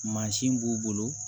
Mansin b'u bolo